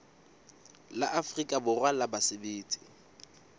la afrika borwa la basebetsi